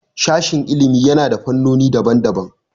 Sashin ilimi yana da fannoni daban daban